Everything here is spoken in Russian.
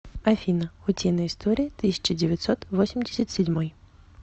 афина утиные истории тысяча девятьсот восемьдесят седьмой